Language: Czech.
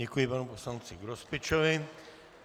Děkuji panu poslanci Grospičovi.